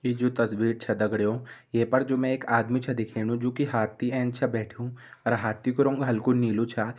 यी जु तस्वीर छ दगड़ियों ये पर जु मैं एक आदमी छ दिखेनु जु की हाथी एंच च बैठ्युं अर हाथी कु रंग हल्कू नीलू छ।